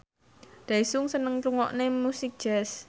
Daesung seneng ngrungokne musik jazz